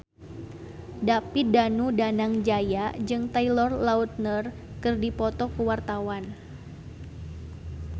David Danu Danangjaya jeung Taylor Lautner keur dipoto ku wartawan